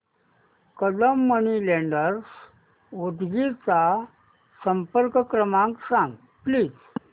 Kadam money lenders Udgir चा संपर्क क्रमांक सांग प्लीज